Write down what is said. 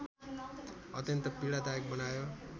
अत्यन्त पीडादायक बनायो